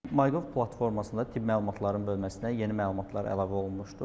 MyGov platformasında tibb məlumatların bölməsinə yeni məlumatlar əlavə olunmuşdur.